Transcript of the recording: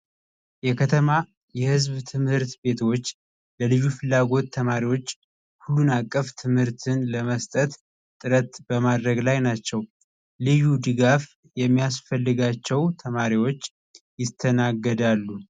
የከተማ የህዝብ ትምህርት ቤቶች ለልዩ ፍላጎት ተማሪዎች ሁሉን አቀፍ ትምህርትን ለመስጠት ጥረት በማድረግ ላይ ናቸው። ልዩ ድጋፍ የሚያስፈልጋቸው ተማሪዎች ይስተናገዳሉ።